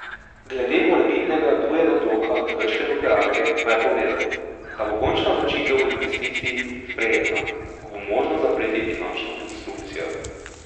Glede morebitnega drugega bloka krške nuklearke pa je povedal, da bo končna odločitev o investiciji sprejeta, ko bo možno zapreti finančno konstrukcijo.